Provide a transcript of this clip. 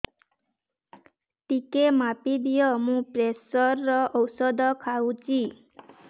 ଟିକେ ମାପିଦିଅ ମୁଁ ପ୍ରେସର ଔଷଧ ଖାଉଚି